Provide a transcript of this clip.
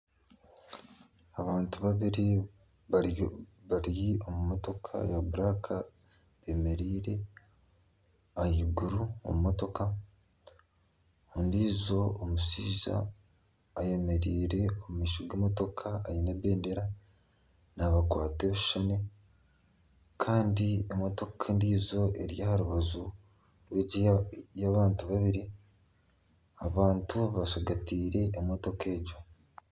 Abantu babiri bari omu motoka ya buraka bemereire aha iguru omu motoka ondiijo omushaija ayemereire omu maisho g'emotoka aine ebendera naabakwata ebishushane Kandi emotoka endiijo eri aha rubaju rw'egi ey'abantu babiri, abantu bashagateire emotoka egyo.